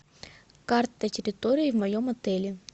карта территории в моем отеле